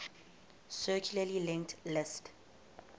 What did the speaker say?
circularly linked list